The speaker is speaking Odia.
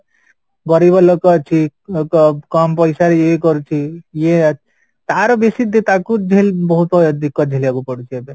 ଗରିବ ଲୋକ ଅଛି କଂ କମ ପଇସାରେ ଇଏ କରୁଛି ଇଏ ତାର ବେଶୀ ତାକୁ ବହୁତ ଝିଲିବାକୁ ପଡୁଛି ଏବେ